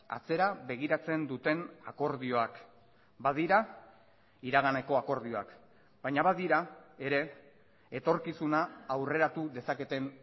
atzera begiratzen duten akordioak badira iraganeko akordioak baina badira ere etorkizuna aurreratu dezaketen